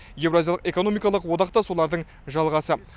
еуразиялық экономикалық одақ да солардың жалғасы